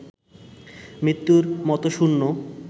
মৃত্যুর মতো শূন্য